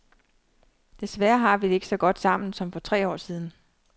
Desværre har vi det ikke så godt sammen som for tre år siden.